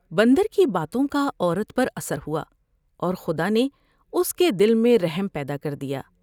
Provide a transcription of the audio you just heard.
بندر کی باتوں کا عورت پر اثر ہوا اور خدا نے اس کے دل میں رحم پیدا کر دیا ۔